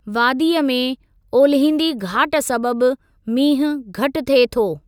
वादीअ में ओलिहिंदी घाट सबबि मींहुं घटि थिए थो।